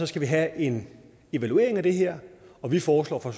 skal vi have en evaluering af det her og vi foreslår fra